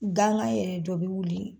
Gangan yɛrɛ dɔ bɛ wuli.